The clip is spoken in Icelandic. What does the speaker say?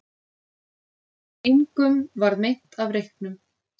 Engum varð meint af reyknum